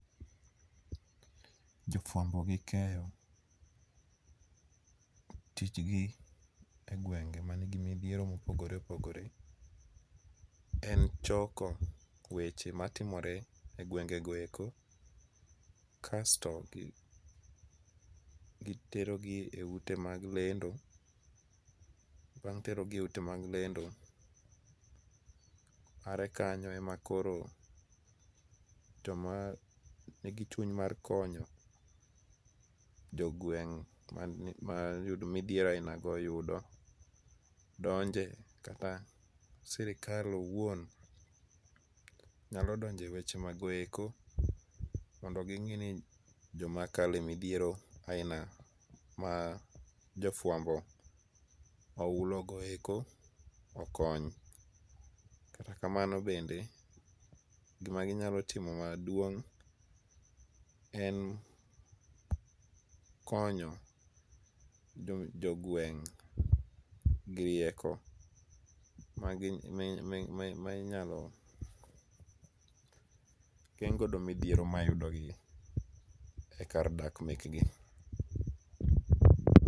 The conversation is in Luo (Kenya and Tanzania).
Jofuambo gi keyo tijgi egwenge man gi midhiero mopogore opogore en choko weche matimore egwengego eko kasto iterogi e ute mag lendo. Bang' terogi eute mag lendo are kanyo ema koro joma nigichuny ma konyo jogweng' ma oyudo midhiero ainago oyudo donje. Kata sirkal owuon nyalo donjo ewechego eko mondo ging'i ni joma kalo e midhiero ainago majo fuambo ohulogo okony. Katakamano bende gima ginyalo timo maduong' en konyo jogweng' gi rieko ma inyalo geng' godo midhiero mayudigigi ekar dak mekgi.